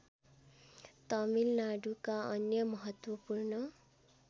तमिलनाडुका अन्य महत्वपूर्ण